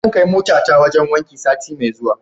Zan kai motata wajen wanki sati mai zuwa.